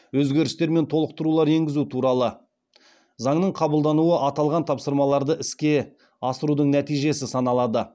өзгерістер мен толықтырулар енгізу туралы заңның қабылдануы аталған тапсырмаларды іске асырудың нәтижесі саналады